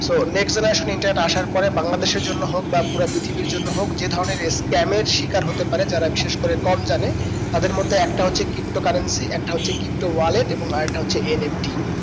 so next generation internet আসার পরে বাংলাদেশের জন্য হোক বা পুরা পৃথিবীর জন্য হোক যে ধরণের scam এর শিকার হতে পারে যারা বিশেষ করে কম জানে তাদের মধ্যে একটা হচ্ছে ptocurrency একটা হচ্ছে ptowallet এবং আর একটা হচ্ছে NFT